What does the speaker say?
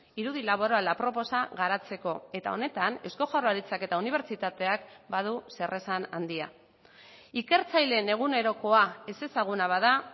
irudi laborala aproposa garatzeko eta honetan eusko jaurlaritzak eta unibertsitateak badu zeresan handia ikertzaileen egunerokoa ezezaguna bada